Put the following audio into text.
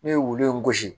Ne ye wulu in gosi